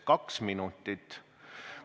Kaks minutit!